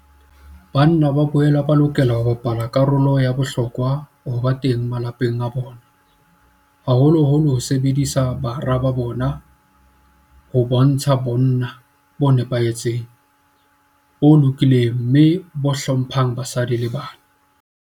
Banna ba boela ba lokela ho bapala karolo ya bohlokwa le ho ba teng malapeng a bona, haholoholo ho hodiseng bara ba bona ho bontsha bonna bo nepahetseng, bo lokileng mme bo hlo mphang basadi le bana.